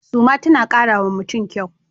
Suma tana kara wa mutum kyau.